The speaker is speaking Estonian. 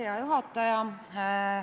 Hea juhataja!